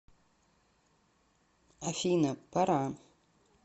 афина пора